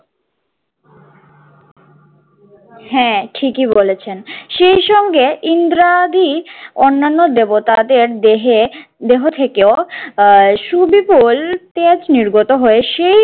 হ্যাঁ ঠিকই বলেছেন। সেই সঙ্গে ইন্দ্রাদি অন্যান্য দেবতাদের দেহে দেহ থেকেও আহ সুবিপুল তেজ নির্গত হয়ে সেই